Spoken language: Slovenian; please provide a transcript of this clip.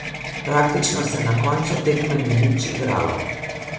Praktično se na koncu tekme ni nič igralo.